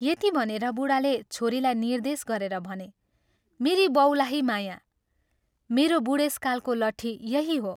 यति भनेर बूढाले छोरीलाई निर्देश गरेर भने, " मेरी बौलाही माया, मेरो बूढेसकालको लट्ठी यही हो।